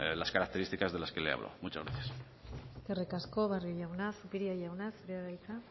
las características de las que le halo muchas gracias eskerrik asko barrio jauna zupiria jauna zurea da hitza